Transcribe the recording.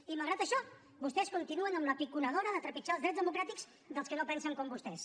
i malgrat això vostès continuen amb la piconadora de trepitjar els drets democràtics dels que no pensen com vostès